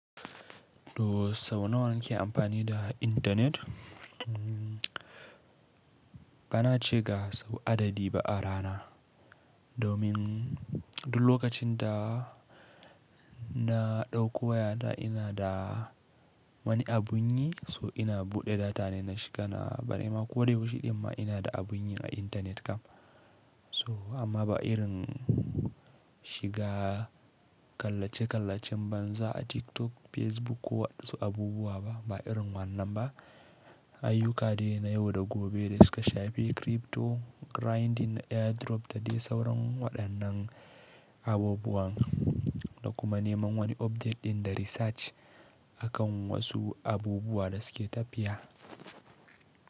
To sau nawa nike amfani da intanet? Bana ce ga sau adadi ba a rana. Domin duk lokacin da na dauko wayata ina da wani abu nyi so ina buɗe data ne na shiga na bari ma ko da yaushe din ma ina da abu nyi a intanet kam. So amma ba irin shiga kallace kallacen banza a TikTok, Facebook ko wasu abubuwa ba irin wannan ba. Ayyuka de na yau da gobe da suka shafi crypto grinding, airdrop da dai sauran waɗannan abubuwan da kuma neman wani opdate ɗin da research akan wasu abubuwa da suke tafiya.